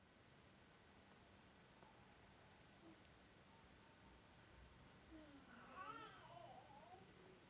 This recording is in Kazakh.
жобасы бұдан өзге біздің компания жәйрем тобының қорларын ықтимал кеңейту тұрғысынан геологиялық барлау жұмыстарымен айналысады